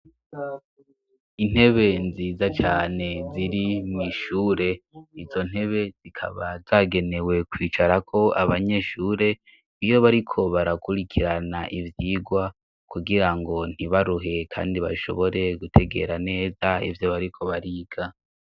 Intebe nziza cyane ziri mw'ishure izo ntebe zikaba zagenewe kwicara ko abanyeshure iyo bariko barakurikirana ibyigwa kugira ngo ntibaruhe kandi bashobore gutegera neza evyo bariko bariga.